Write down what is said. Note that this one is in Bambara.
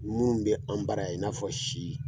Mun bi an bara in i n'a fɔ si